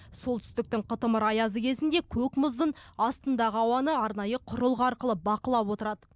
солтүстіктің қытымыр аязы кезінде көк мұздың астындағы ауаны арнайы құрылғы арқылы бақылап отырады